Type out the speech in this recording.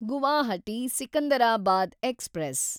Guwahati Secunderabad express